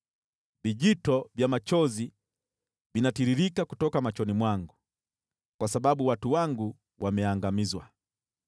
Vijito vya machozi vinatiririka kutoka machoni mwangu, kwa sababu watu wangu wameangamizwa.